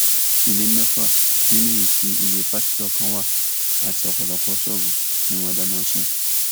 ilé mẹfà nínú èyí tí ilé pásítọ kan wà àti ọpọlọpọ ṣọọbù ni wọn dáná sun